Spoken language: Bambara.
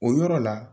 O yɔrɔ la